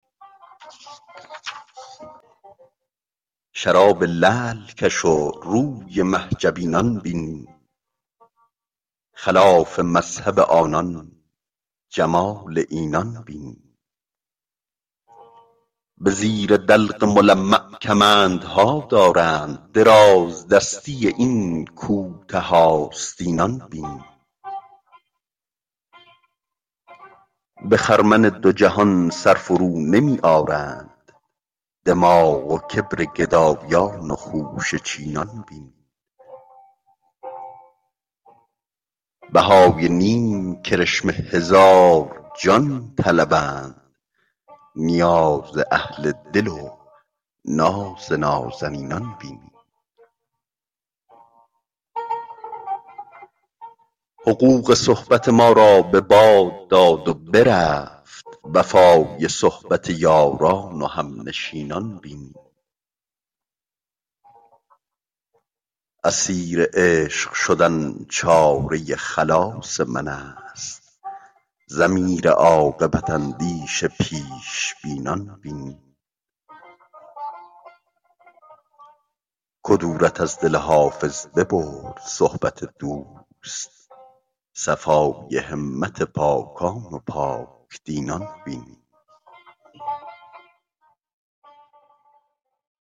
شراب لعل کش و روی مه جبینان بین خلاف مذهب آنان جمال اینان بین به زیر دلق ملمع کمندها دارند درازدستی این کوته آستینان بین به خرمن دو جهان سر فرونمی آرند دماغ و کبر گدایان و خوشه چینان بین بهای نیم کرشمه هزار جان طلبند نیاز اهل دل و ناز نازنینان بین حقوق صحبت ما را به باد داد و برفت وفای صحبت یاران و همنشینان بین اسیر عشق شدن چاره خلاص من است ضمیر عاقبت اندیش پیش بینان بین کدورت از دل حافظ ببرد صحبت دوست صفای همت پاکان و پاک دینان بین